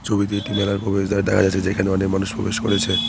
ছবিতে একটি মেলার প্রবেশদ্বার দেখা যাচ্ছে যেখানে অনেক মানুষ প্রবেশ করেছে।